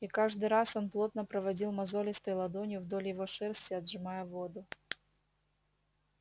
и каждый раз он плотно проводил мозолистой ладонью вдоль его шерсти отжимая воду